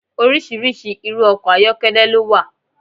Oríṣiríṣi irú ọkọ̀ ayọ́kẹ́lẹ́ ló wà.